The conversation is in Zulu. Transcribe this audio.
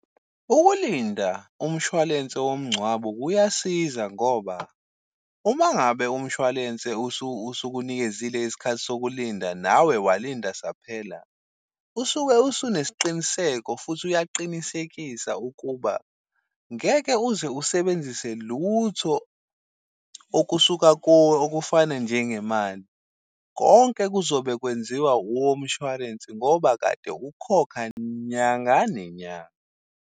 Ukulinda umshwalense womngcwabo kuyasiza ngoba, uma ngabe umshwalense usukunikezile isikhathi sokulinda, nawe walinda saphela, usuke usunesiqiniseko futhi uyaqinisekisa ukuba ngeke uze usebenzise lutho okusuka kuwe okufana njengemali. Konke kuzobe kwenziwa womshwalense ngoba kade ukhokha nyanga nenyanga.